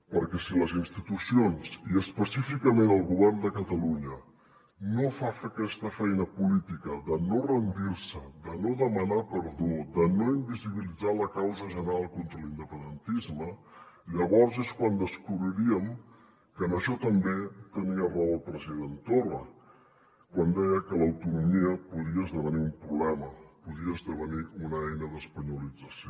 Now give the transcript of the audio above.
perquè si les institucions i específicament el govern de catalunya no fa aquesta feina política de no rendir se de no demanar perdó de no invisibilitzar la causa general contra l’independentisme llavors és quan descobriríem que en això també tenia raó el president torra quan deia que l’autonomia podia esdevenir un problema podia esdevenir una eina d’espanyolització